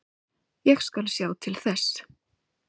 Ég skal sjá til þess.